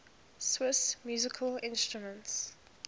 swiss musical instruments